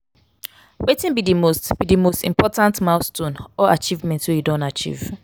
wetin be di most be di most important milestone or achievement wey you don achieve?